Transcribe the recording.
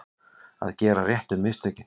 Að gera réttu mistökin